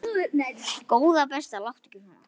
Góða besta láttu ekki svona!